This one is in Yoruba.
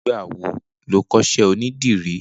Nigbà wó ló kọṣẹ ónìdìrì?